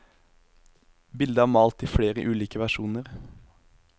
Bildet er malt i flere ulike versjoner.